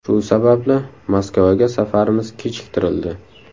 Shu sababli Moskvaga safarimiz kechiktirildi.